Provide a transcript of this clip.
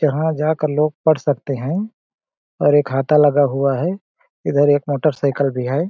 जहां जाकर लोग पढ़ सकते हैं और एक हाता लगा हुआ है इधर एक मोटरसाइकिल भी है।